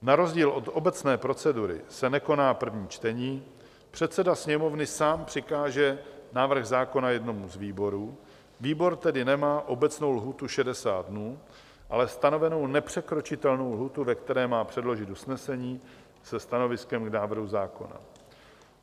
Na rozdíl od obecné procedury se nekoná první čtení, předseda Sněmovny sám přikáže návrh zákona jednomu z výborů, výbor tedy nemá obecnou lhůtu 60 dní, ale stanovenou nepřekročitelnou lhůtu, ve které má předložit usnesení se stanoviskem k návrhu zákona.